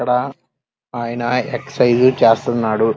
ఇక్కడ ఆయన ఎక్సరసైజ్ చేస్తున్నాడు.